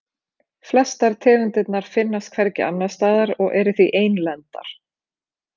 Flestar tegundirnar finnast hvergi annars staðar og eru því einlendar.